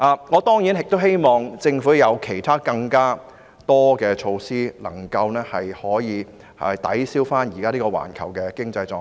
我當然亦希望政府推行更多其他措施以抵銷現時環球的經濟狀況。